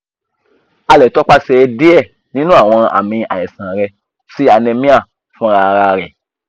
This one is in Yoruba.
a le tọ pasẹ̀ die ninu awọn àmì aisan rẹ si anemia funrararẹ